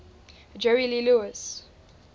jerry lee lewis